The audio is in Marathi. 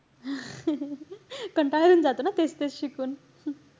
कंटाळा येऊन जातो ना तेच-तेच शिकून.